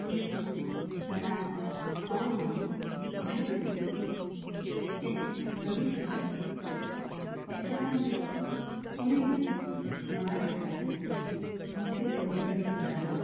Street food vada pav, pav bhaji, pani puri इत्यादी चविष्ट असतात. त्याच्या नंतर पुणेही महाराष्ट्रातील मोठे पर्यटन स्थळ आहे.